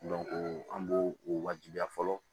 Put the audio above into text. an b'o o wajibiya fɔlɔ